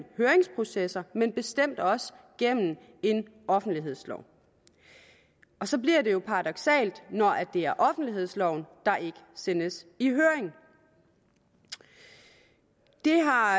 høringsprocesser men bestemt også gennem en offentlighedslov så bliver det jo paradoksalt når det er offentlighedsloven der ikke sendes i høring det har